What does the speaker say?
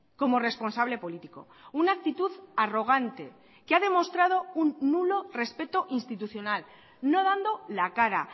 como responsable político una actitud arrogante que ha demostrado un nulo respeto institucional no dando la cara